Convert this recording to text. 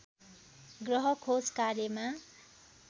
ग्रह खोज कार्यमा